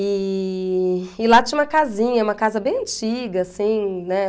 E e lá tinha uma casinha, uma casa bem antiga, assim, né?